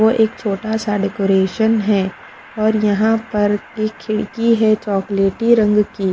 वो एक छोटा सा डेकोरेशन है और यहाँ पर एक खिड़की है चॉकलेटी रंग की।